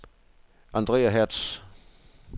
Andrea Hertz